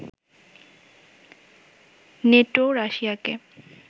নেটোও রাশিয়াকে